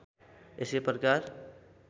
यसै प्रकार